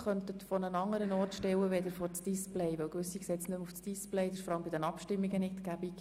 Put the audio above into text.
Sonst können einige Leute nicht mehr lesen, was auf dem Display steht, und das ist vor allem bei den Abstimmungen nicht praktisch.